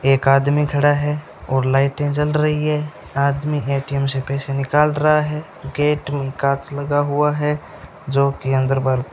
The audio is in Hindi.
एक आदमी खड़ा है और लाइटें जल रही हैं आदमी ए_टी_एम से पैसे निकाल रहा है गेट निकास लगा हुआ है जो की अंदर बाहर --